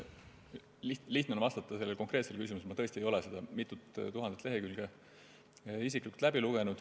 Sellele konkreetsele küsimusele on lihtne vastata: ma tõesti ei ole seda mitut tuhandet lehekülge isiklikult läbi lugenud.